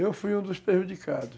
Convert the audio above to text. Eu fui um dos prejudicados.